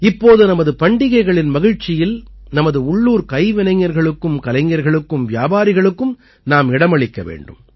இப்போது நமது பண்டிகைகளின் மகிழ்ச்சியில் நமது உள்ளூர் கைவினைஞர்களுக்கும் கலைஞர்களுக்கும் வியாபாரிகளுக்கும் நாம் இடமளிக்க வேண்டும்